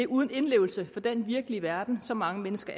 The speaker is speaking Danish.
uden indlevelse i den virkelige verden som mange mennesker